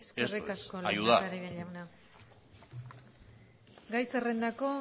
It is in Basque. eso es ayudar eskerrik asko lehendakari jauna gai zerrendako